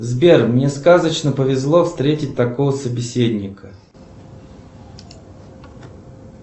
сбер мне сказочно повезло встретить такого собеседника